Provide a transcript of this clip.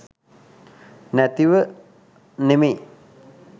නැතිව නෙමෙයි.